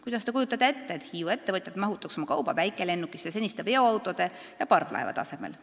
Kuidas Te kujutate ette, et Hiiu ettevõtjad mahutaks oma kauba väikelennukisse seniste veoautode ja parvlaevade asemel?